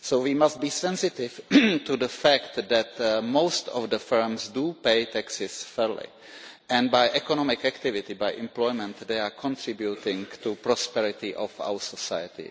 So we must be sensitive to the fact that most firms do pay taxes fairly, and by economic activity, by employment, they are contributing to the prosperity of our society.